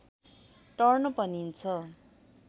turn भनिन्छ